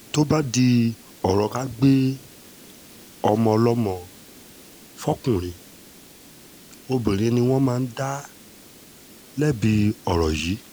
tó bá di ọ̀rọ̀ ká gbé ọmọ ọlọ́mọ fọkùnrin obìnrin ni wọ́n máa ń dá lẹ́bi ọ̀rọ̀ yìí